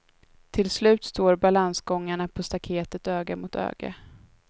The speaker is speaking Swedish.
Till slut står balansgångarna på staketet öga mot öga.